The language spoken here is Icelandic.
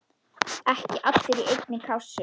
Ekki allir í einni kássu!